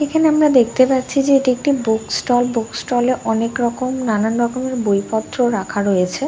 এখানে আমরা দেখতে পাচ্ছি যে এটা একটি বুক স্টল । বুক স্টল -এ অনেক রকম নানান রকমের বই পত্র রাখা রয়েছে ।